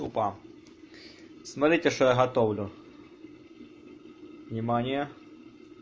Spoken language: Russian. тупо смотрите что я готовлю внимание